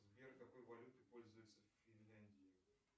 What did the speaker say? сбер какой валютой пользуются в финляндии